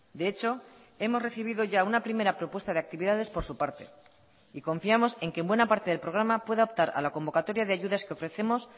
de hecho hemos recibido ya una primera propuesta de actividades por su parte y confiamos en que en buena parte del programa pueda optar a la convocatoria de ayudas que ofrecemos